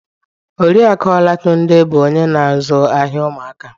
Oriakụ Olatunde bụ onye na-azụ ahịa ụmụaka